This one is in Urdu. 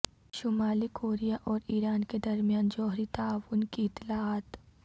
شمالی کوریا اور ایران کے درمیان جوہری تعاون کی اطلاعات